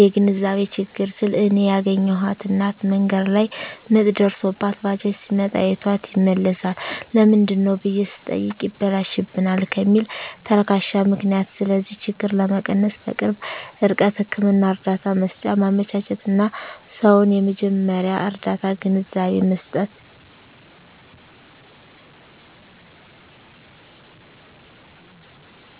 (የግንዛቤ ችግር) ስል እኔ ያገኘኋት እናት መንገድ ላይ ምጥ ደርሶባት ባጃጅ ሲመጣ አይቷት ይመለሳል ለምንድነው ብየ ስጠይቅ ይበላሽብናል ከሚል ተልካሻ ምክንያት ስለዚህ ችግር ለመቀነስ_በቅርብ ርቀት ህክምና እርዳታ መሰጫ ማመቻቸትና: ሰዉን የመጀመርያ ርዳታ ግንዛቤ መስጠት።